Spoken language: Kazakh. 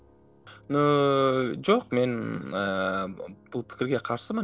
ну жоқ мен ііі бұл пікірге қарсымын